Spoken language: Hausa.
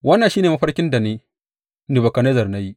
Wannan shi ne mafarkin da ni, Nebukadnezzar, na yi.